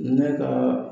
Ne ka